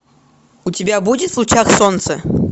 у тебя будет в лучах солнца